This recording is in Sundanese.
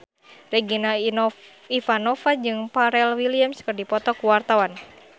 Regina Ivanova jeung Pharrell Williams keur dipoto ku wartawan